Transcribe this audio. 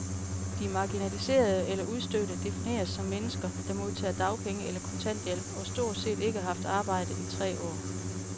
De marginaliserede, eller udstødte, defineres som mennesker, der modtager dagpenge eller kontanthjælp og stort set ikke har haft arbejde i tre år.